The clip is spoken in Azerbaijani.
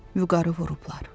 Vüqarı vurublar.